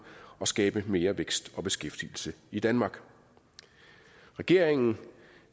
og skabe mere vækst og beskæftigelse i danmark regeringen